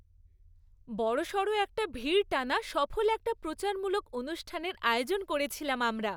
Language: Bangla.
বড়সড় একটা ভিড় টানা সফল একটা প্রচারমূলক অনুষ্ঠানের আয়োজন করেছিলাম আমরা।